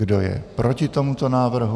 Kdo je proti tomuto návrhu?